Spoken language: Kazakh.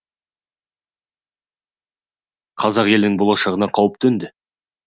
қазақ елінің болашағына қауіп төнді